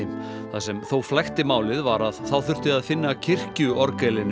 það sem þó flækti málið var að þá þurfti að finna